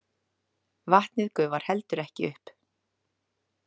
Vatnið gufar heldur ekki upp!